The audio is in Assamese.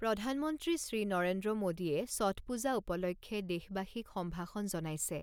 প্ৰধানমন্ত্ৰী শ্ৰী নৰেন্দ্ৰ মোদীয়ে ছঠ পূজা উপলক্ষে দেশবাসীক সম্ভাষণ জনাইছে।